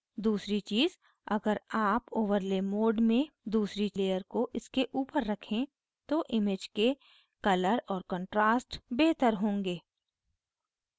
दूसरी चीज़ अगर आप overlay mode में दूसरी layer को इसके ऊपर रखे तो image के colours और contrast बेहतर होंगे